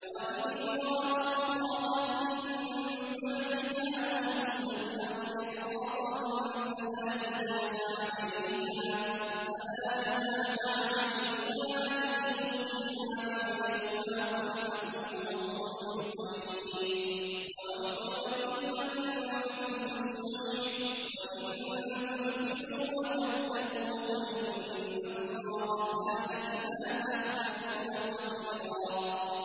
وَإِنِ امْرَأَةٌ خَافَتْ مِن بَعْلِهَا نُشُوزًا أَوْ إِعْرَاضًا فَلَا جُنَاحَ عَلَيْهِمَا أَن يُصْلِحَا بَيْنَهُمَا صُلْحًا ۚ وَالصُّلْحُ خَيْرٌ ۗ وَأُحْضِرَتِ الْأَنفُسُ الشُّحَّ ۚ وَإِن تُحْسِنُوا وَتَتَّقُوا فَإِنَّ اللَّهَ كَانَ بِمَا تَعْمَلُونَ خَبِيرًا